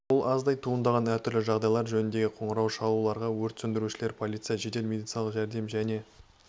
бұл аздай туындаған әр түрлі жағдайлар жөніндегі қоңырау шалуларға өрт сөндірушілер полиция жедел медициналық жәрдем және